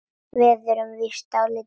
Við erum víst dálítið sein.